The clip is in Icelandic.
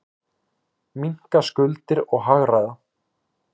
Minnka skuldir og hagræða.